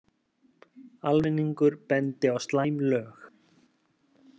Almenningur bendi á slæm lög